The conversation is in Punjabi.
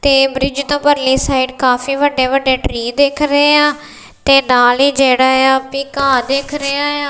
ਤੇ ਬ੍ਰਿਜ ਤੋਂ ਪਰ੍ਲੀ ਸਾਈਡ ਕਾਫੀ ਵੱਡੇ ਵੱਡੇ ਟ੍ਰੀ ਦਿੱਖ ਰਹੇਂਹਾਂ ਤੇ ਨਾਲੇ ਜਿਹੜਾ ਆ ਤੇ ਘਾਹ ਦਿੱਖ ਰਿਹਾ ਆ।